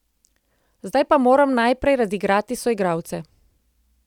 Zdaj pa moram najprej razigrati soigralce.